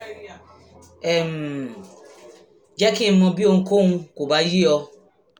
um jẹ́ kí n mọ̀ bí ohunkóhun kò bá yé ọ